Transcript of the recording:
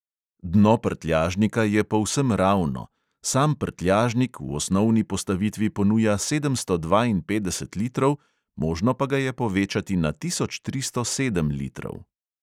Dno prtljažnika je povsem ravno, sam prtljažnik v osnovni postavitvi ponuja sedemsto dvainpetdeset litrov, možno pa ga je povečati na tisoč tristo sedem litrov.